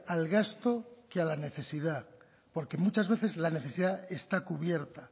al gasto que a la necesidad porque muchas veces la necesidad está cubierta